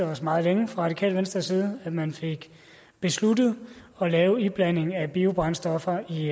os meget længe fra radikale venstres side at man fik besluttet at lave iblanding af biobrændstoffer i